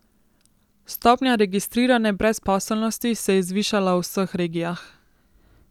Stopnja registrirane brezposelnosti se je zvišala v vseh regijah.